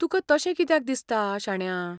तुकां तशें कित्याक दिसता, शाण्या?